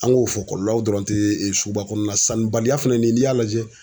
An k'o fɔ kɔlɔlɔw dɔrɔn te suguba kɔnɔna sanni baliya fɛnɛ ni y'a lajɛ